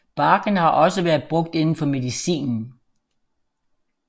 Barken har også været brugt inden for medicinen